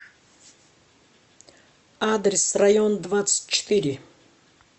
адрес район двадцать четыре